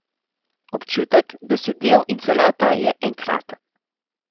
Občutek, da si del in celota, je enkraten.